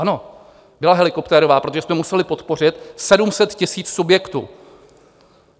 Ano, byla helikoptérová, protože jsme museli podpořit 700 000 subjektů.